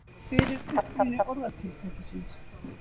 hver er uppruni orðatiltækisins